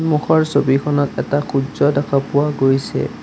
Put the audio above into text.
সন্মুখৰ ছবিখনত এটা সূৰ্য্য দেখা পোৱা গৈছে।